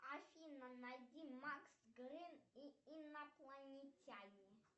афина найди макс грин и инопланетяне